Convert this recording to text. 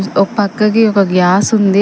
ఓ పక్కకి ఒక గ్యాస్ ఉంది.